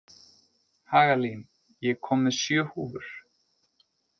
Hagalín, ég kom með sjö húfur!